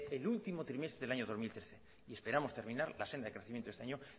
el último trimestre del año dos mil trece y esperamos terminar la senda de crecimiento en este año